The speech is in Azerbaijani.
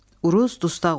Uruz dustaq oldu.